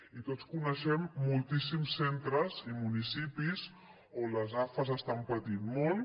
i tots coneixem moltíssims centres i municipis on les afas estan patint molt